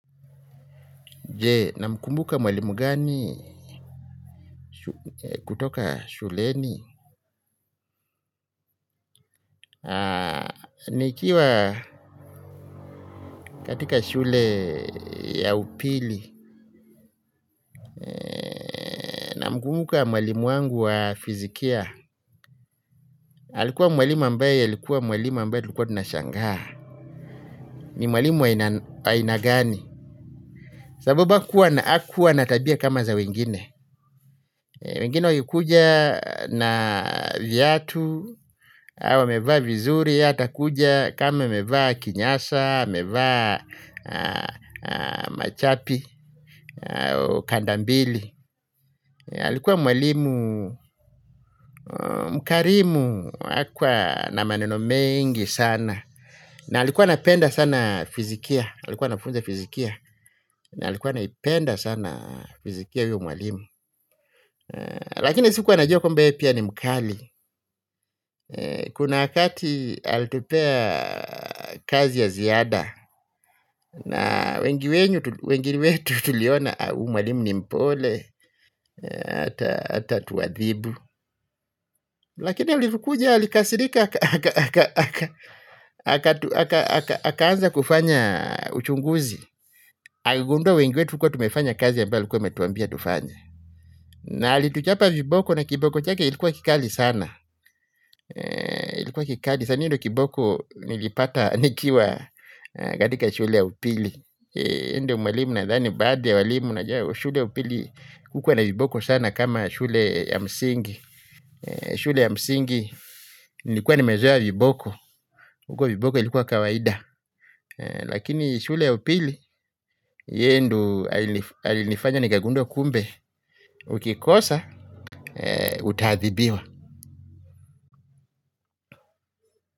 Je, namkumbuka mwalimu gani kutoka shuleni? Nikiwa katika shule ya upili, na mkumbuka mwalimu wangu wa fizikia. Alikuwa mwalimu ambaye, alikuwa mwalimu ambaye tulikuwa tunashangaa. Ni mwalimu wa aina gani. Sababu hakuwa na tabia kama za wengine. Wengine wakikuja na viatu, wamevaa vizuri, yeye atakuja kama amevaa kinyasa, amevaa machapi, kandambili. Alikuwa mwalimu, mkarimu, hakuwa na maneno mengi sana. Na alikuwa anapenda sana fizikia, alikuwa anafunza fizikia na alikuwa anaipenda sana fizikia huyo mwalimu. Lakini sikuwa najua kwamba yeye pia ni mkali. Kuna wakati alitupea kazi ya ziada. Na wengine wetu tuliona huyu mwalimu ni mpole hatatuadhibu. Lakini alipokuja, alikasirika. Akaanza kufanyauchunguzi. Akigundua wengi wetu hatukuwa tumefanya kazi ambayo alikuwa wametuambia tufanye. Na alituchapa viboko na kiboko chake ilikuwa kikali sana. Ilikuwa kikali sana hiyo ndio kiboko nilipata nikiwa katika shule ya upili. Yeye ndiye mwalimu nadhani baadhi ya walimu najua. Shule ya upili hukuwa na viboko sana kama shule ya msingi. Shule ya msingi nilikuwa nimezoa viboko. Huku viboko ilikuwa kawaida. Lakini shule ya upili yeye ndo alinifanya nikagundua kumbe ukikosa utadhibiwa.